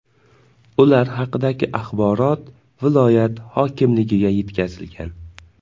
Ular haqidagi axborot viloyat hokimligiga yetkazilgan .